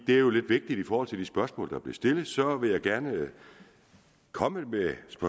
er jo lidt vigtigt i forhold til de spørgsmål der stillet så vil jeg gerne komme med